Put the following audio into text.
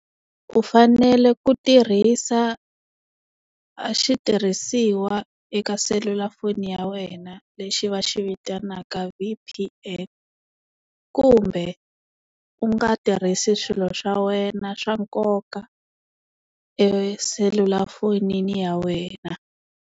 U fanele ku tirhisa a xitirhisiwa eka selulafoni ya wena lexi va xi vitanaka V_P_N kumbe u nga tirhisi swilo swa wena swa nkoka eselulafonini ya wena.